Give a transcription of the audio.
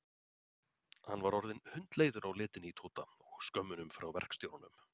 Hann var orðinn hundleiður á letinni í Tóta og skömmunum frá verkstjóranum.